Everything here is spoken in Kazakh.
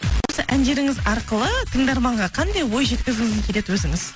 осы әндеріңіз арқылы тыңдарманға қандай ой жеткізгіңіз келеді өзіңіз